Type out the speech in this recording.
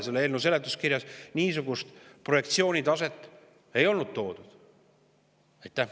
Selle eelnõu seletuskirjas niisugust projektsiooni selle taseme kohta ei ole.